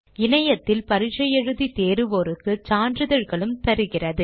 இணையத்தில் தேர்வு எழுதி தேர்வோருக்கு சான்றிதழ்களும் அளிக்கிறது